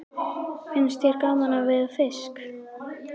Finnst þér gaman að veiða fisk?